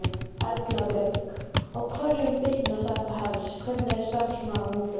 Erla Björg: Á hverjum bitnar þetta helst, hvernig er starfsmannahópurinn?